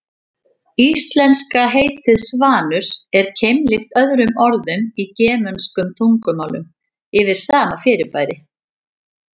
Íslenska heitið svanur er keimlíkt öðrum orðum í germönskum tungumálum yfir sama fyrirbæri.